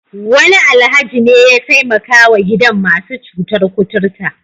Wani Alhaji ne ya taimakawa gidan masu cutar kuturta.